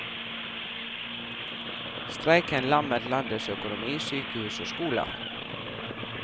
Streiken lammet landets økonomi, sykehus og skoler.